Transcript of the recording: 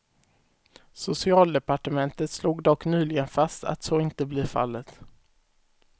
Socialdepartementet slog dock nyligen fast att så inte blir fallet.